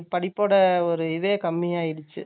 ஒரு இதே கம்மியாயிடுச்சு